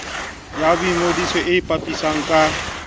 ya boingodiso e ipitsang ka